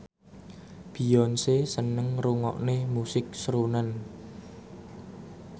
Beyonce seneng ngrungokne musik srunen